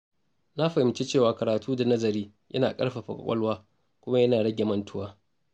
Na fahimci cewa karatu da nazari yana ƙarfafa kwakwalwa kuma yana rage mantuwa.